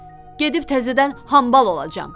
Gedib təzədən hambal olacam.